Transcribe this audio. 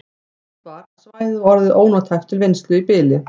Ljóst var að svæðið var orðið ónothæft til vinnslu í bili.